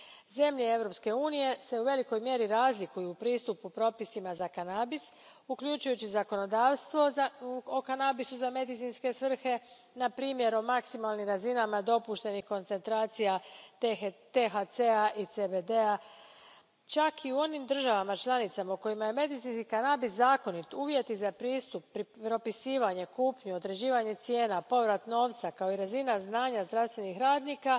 Zemlje Europske unije se u velikoj mjeri razlikuju u pristupu propisima za kanabis, uključujući zakonodavstvo o kanabisu za medicinske svrhe, na primjer, o maksimalnim razinama dopuštenih koncentracija THC a i CBD a. Čak i u onim državama članicama u kojima je medicinski kanabis zakonit, uvjeti za pristup, propisivanje, kupnju, određivanje cijena, povrat novca, kao i razina znanja zdravstvenih radnika